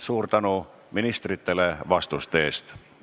Suur tänu ministritele vastuste eest!